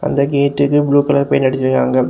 இந்த கேட்டுக்கு blue colour paint அடிச்சுருக்காங்க.